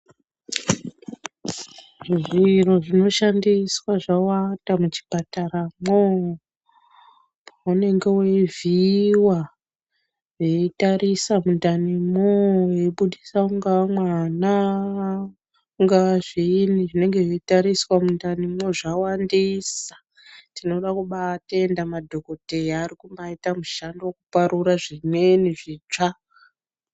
Zviro zvinoshandiswa zvawanda muchipataramwo unenge weivhiiwa veitarisa mundanimwo veiputisa ungava mwana ungava zviinyi zvinenge zveitariswa mundanimwo zvawandisa tinoda kubatenda madhokodheya arikubaita mushando wekuparura zvimweni zvitsva.